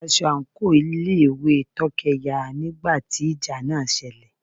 aṣọ àńkò ilé ìwé Tókẹ́ ya nígbà tí ìjà náà selẹ̀.